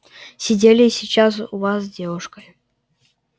сидели сейчас у вас с девушкой